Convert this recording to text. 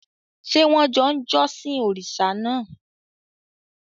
Ṣé wọ́n ń jọ́sìn òrìṣà náà?